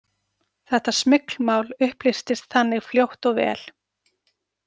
Þetta smyglmál upplýstist þannig fljótt og vel.